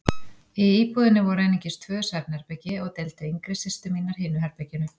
Í íbúðinni voru einungis tvö svefnherbergi og deildu yngri systur mínar hinu herberginu.